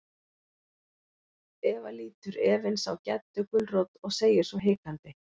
Eva lítur efins á Geddu gulrót og segir svo hikandi.